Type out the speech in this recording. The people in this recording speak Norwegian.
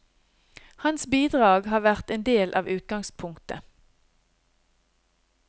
Hans bidrag har vært en del av utgangspunktet.